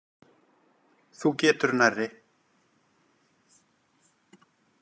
Þú getur nærri.